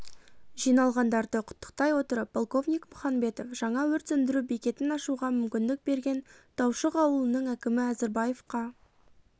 жиналғандарды құттықтай отырып полковник мұханбетов жаңа өрт сөндіру бекетін ашуға мүмкіндік берген таушық ауылының әкімі әзірбаевқа